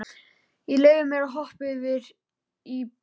Ég leyfi mér að hoppa yfir í bréfið.